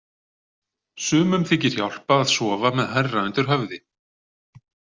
Sumum þykir hjálpa að sofa með hærra undir höfði.